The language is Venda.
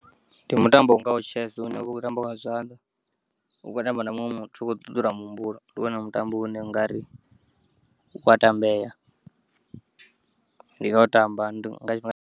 Ndi mutambo ungaho Chess une uvha u kho u tambiwa nga zwanḓa u kho u tamba na muṅwe muthu u kho ṱuṱula muhumbulo ndiwone mutambo une ungari u a tambeya ndi nga u tamba .